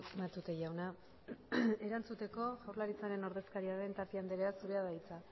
matute jauna erantzuteko jaurlaritzaren ordezkari den tapia anderea zurea da hitza